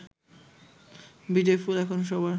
বিজয়ফুল এখন সবার